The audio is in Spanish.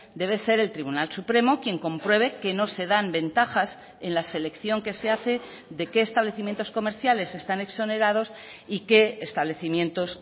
debe ser el tribunal supremo quien compruebe que no se dan ventajas en la selección que se hace de qué establecimientos comerciales están exonerados y qué establecimientos